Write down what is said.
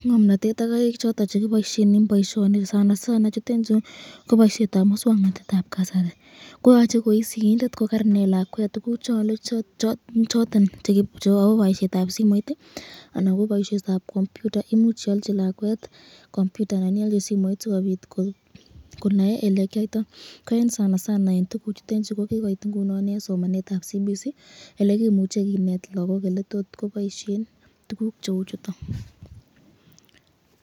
Ngomnatet ak karik choton chekiboisyen eng boisyoni, nondon ko muswaknatetab kasari, yoche koi sigindet kokarinet lakwet tukuk choton chebo boisyetab simoit anan ko boisyetab computer ,imuch ialji lakwet simoit anan ko computer sikobit konae elekyayto boisyoni ,kiyoit ingunin eng somanetab kasari elekiboisyen tukuchu.